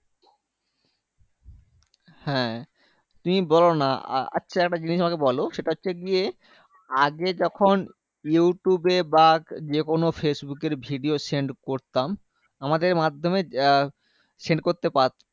হ্যাঁ তুমি বলোনা আ আচ্ছা একটা জিনিস আমাকে বলো সেটা হচ্ছে গিয়ে আগে যখন ইউটুবে বা যেকোনো ফেসবুকের video send করতাম আমাদের মাধম্যে send করতে পার